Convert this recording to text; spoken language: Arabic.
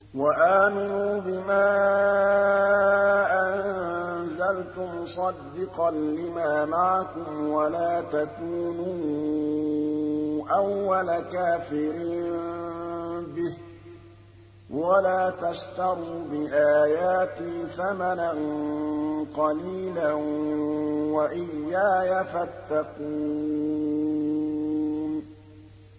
وَآمِنُوا بِمَا أَنزَلْتُ مُصَدِّقًا لِّمَا مَعَكُمْ وَلَا تَكُونُوا أَوَّلَ كَافِرٍ بِهِ ۖ وَلَا تَشْتَرُوا بِآيَاتِي ثَمَنًا قَلِيلًا وَإِيَّايَ فَاتَّقُونِ